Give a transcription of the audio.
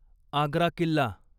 Agra Killa